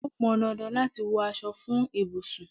Ó pọn dandan láti wọ aṣọ fún ibùsùn.